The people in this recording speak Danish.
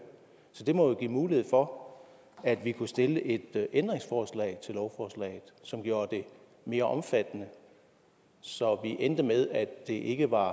så det må jo give mulighed for at vi kunne stille et ændringsforslag til lovforslaget som gjorde det mere omfattende så vi endte med at det ikke var